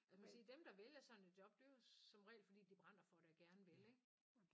Altså man kan sige dem der vælger sådan et job det er jo som regel fordi de brænder for det og gerne vil ik